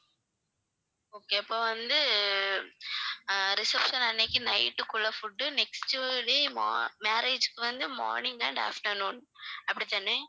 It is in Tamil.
okay அப்ப வந்து அஹ் reception அன்னைக்கு night க்கு உள்ள food next day mo~ marriage க்கு வந்து morning and afternoon அப்படிதானே